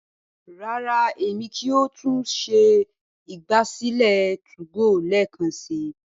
rara, Èmi kìí yóò tún ṣe ìgbàsílẹ̀ 2go lẹẹkansi